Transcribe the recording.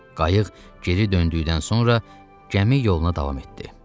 Qayıq geri döndükdən sonra gəmi yoluna davam etdi.